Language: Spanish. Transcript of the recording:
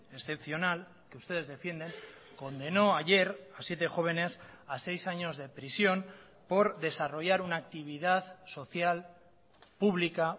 excepcional que ustedes defienden condenó ayer a siete jóvenes a seis años de prisión por desarrollar una actividad social pública